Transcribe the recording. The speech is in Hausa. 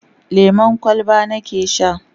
lemun kwalba nake Sha